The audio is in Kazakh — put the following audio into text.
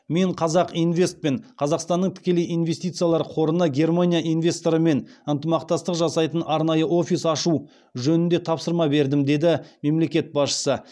мен қазақинвест пен қазақстанның тікелей инвестициялар қорына германия инвесторларымен ынтымақтастық жасайтын арнайы офис ашу жөнінде тапсырма бердім деді мемлекет басшысы